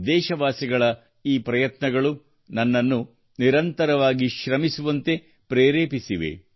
ದೇಶವಾಸಿಗಳ ಈ ಪ್ರಯತ್ನಗಳು ನನ್ನನ್ನು ನಿರಂತರವಾಗಿ ಶ್ರಮಿಸುವಂತೆ ಪ್ರೇರೇಪಿಸಿದೆ